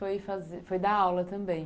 Você foi fazer, foi dar aula também?